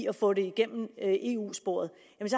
at få det igennem ad eu sporet